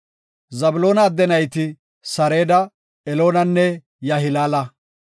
Zabloona adde nayti Sareda, Eloonanne Yahilaala.